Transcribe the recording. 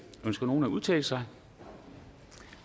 ønsker nogen at udtale sig